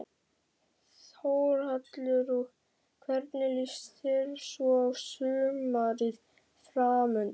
Þórhallur: Og hvernig líst þér svo á sumarið framundan?